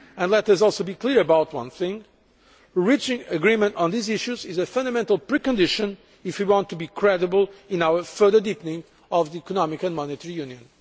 And let us also be clear about one thing reaching agreement on these issues is a fundamental precondition if we want to be credible in our further deepening of economic and monetary union.